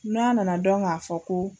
N'a nana dɔn k'a fɔ ko